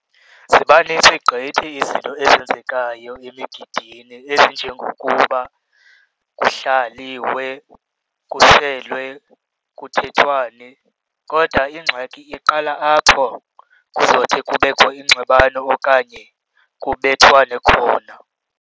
Ziba nintsi gqithi izinto ezenzekayo emigidini ezinjengokuba kuhlaliwe, kuselwe kuthethwane. Kodwa ingxaki iqala apho kuzothi kubekho ingxabano okanye kubethwane khona.